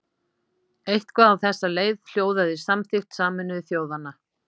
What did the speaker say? Eitthvað á þessa leið hljóðaði samþykkt Sameinuðu þjóðanna.